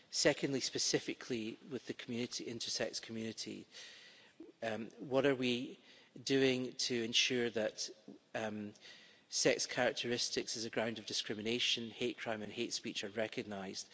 Secondly, specifically with the intersex community, what are we doing to ensure that sex characteristics as a ground of discrimination, hate crime and hate speech are recognised?